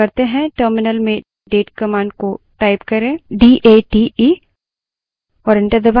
terminal में date command को type करें और enter दबायें